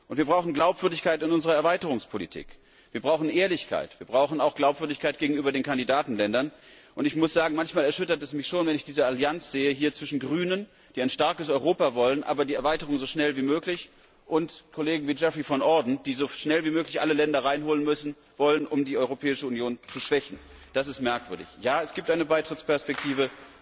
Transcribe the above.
Wir brauchen Glaubwürdigkeit in unserer Erweiterungspolitik, wir brauchen Ehrlichkeit, auch Glaubwürdigkeit gegenüber den Kandidatenländern. Ich muss sagen, manchmal erschüttert es mich schon, wenn ich diese Allianz hier sehe zwischen Grünen, die ein starkes Europa wollen, aber die Erweiterung so schnell wie möglich, und Kollegen wie Geoffrey van Orden, die so schnell wie möglich alle Länder hereinholen wollen, um die Europäische Union zu schwächen. Das ist merkwürdig. Ja, es gibt eine Beitrittsperspektive.